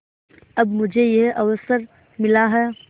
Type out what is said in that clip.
अब मुझे यह अवसर मिला है